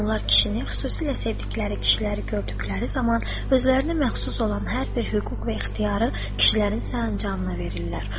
Onlar kişini xüsusilə sevdikləri kişiləri gördükləri zaman özlərinə məxsus olan hər bir hüquq ixtiyarı kişilərin sərəncamına verirlər.